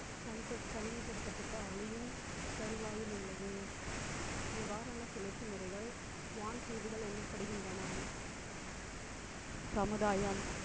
தனிப்படுத்த~ தனிமைப்படுத்தப்பட்ட ஆலயம் தருவாயில் உள்ளது. இவ்வாறான சுழற்சி முறைகள் வான் தீவுகள் எனப்படுகின்றன சமுதாயம்